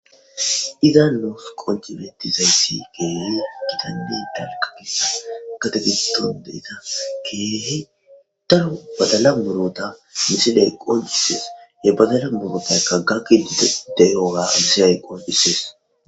Izan nus qonci betizaysi keehi gitanne dalga gidida keehi daro badala muruta misiley qoncises he badala murutayka gakidi fe'iyoga misiley qoncisees